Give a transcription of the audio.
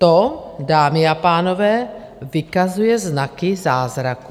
To, dámy a pánové, vykazuje znaky zázraku.